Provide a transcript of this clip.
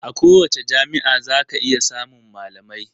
A kowace jami'a zaka iya samun malamai.